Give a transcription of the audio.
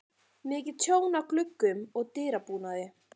Mikið tjón á gluggum og dyrabúnaði.